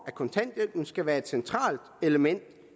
af kontanthjælpen skal være et centralt element